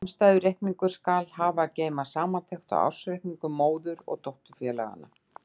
Samstæðureikningur skal hafa að geyma samantekt á ársreikningum móður- og dótturfélaganna.